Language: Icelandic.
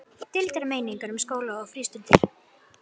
Deildar meiningar um skóla og frístundir